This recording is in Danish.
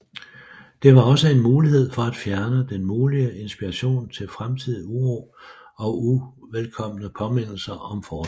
Det var også en mulighed for at fjerne den mulige inspiration til fremtidig uro og uvelkomne påmindelser om fortiden